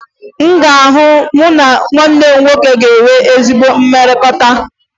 Ị ga-ahụ na mụ na nwanne m nwoke enweghi ezi mmekọrịta